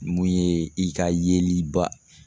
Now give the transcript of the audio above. Mun ye i ka yeliba